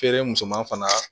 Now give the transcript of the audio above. Feere musoman fana